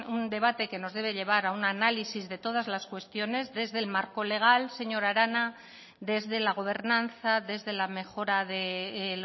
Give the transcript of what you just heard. un debate que nos debe llevar a un análisis de todas las cuestiones desde el marco legal señora arana desde la gobernanza desde la mejora de